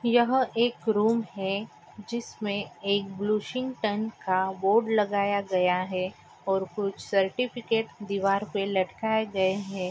यह एक रूम है जिसमे एक ब्लुशिंग्टन का बोर्ड लगाया गया है और कुछ सर्टिफिकेट दीवार पर लटकाए गए है।